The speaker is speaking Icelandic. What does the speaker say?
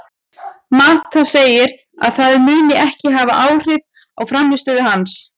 Mata segir að það muni ekki hafa áhrif á frammistöðu hans.